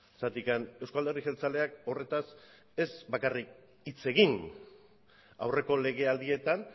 zergatik euzko alderdi jeltzaleak horretaz ez bakarrik hitz egin aurreko legealdieetan